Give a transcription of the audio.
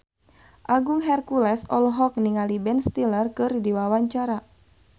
Agung Hercules olohok ningali Ben Stiller keur diwawancara